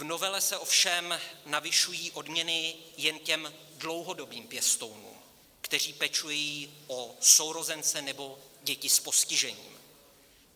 V novele se ovšem navyšují odměny jen těm dlouhodobým pěstounům, kteří pečují o sourozence nebo děti s postižením.